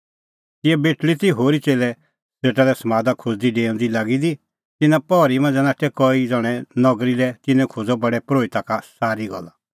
तिंयां बेटल़ी ती होरी च़ेल्लै सेटा लै समादा खोज़दी डेऊंदी ई लागी दी कि तिन्नां पहरी मांझ़ै नाठै कई ज़ण्हैं नगरी लै तिन्नैं खोज़अ प्रधान परोहिता का पूरअ हाल